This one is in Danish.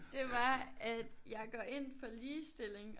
Det var at jeg går ind for ligestilling